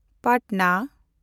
Patna